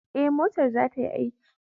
Ee, motar za ta yi aiki.